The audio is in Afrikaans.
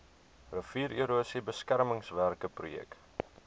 riviererosie beskermingswerke projek